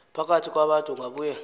phakathi kwabantu ungabuye